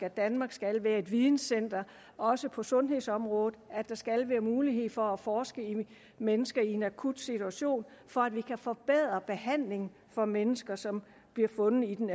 at danmark skal være et videncenter også på sundhedsområdet og at der skal være mulighed for at forske i mennesker i en akut situation for at vi kan forbedre behandlingen for mennesker som bliver fundet i den